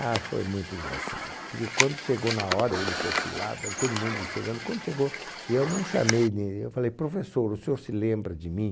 Ah, foi muito engraçado, porque quando chegou na hora, ele perfilado, ali todo mundo chegando, quando chegou, eu não chamei nem, eu falei, professor, o senhor se lembra de mim?